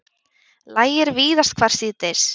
Lægir víðast hvar síðdegis